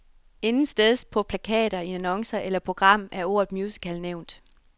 Intetsteds på plakater, i annoncer eller program er ordet musical nævnt.